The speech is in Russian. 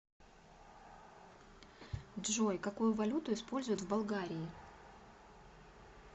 джой какую валюту используют в болгарии